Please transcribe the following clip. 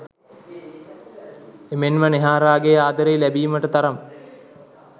එමෙන්ම නෙහාරාගේ ආදරය ලැබීමට තරම්